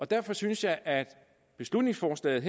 derfor synes jeg at beslutningsforslaget